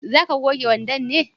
za ka goge wandon ne?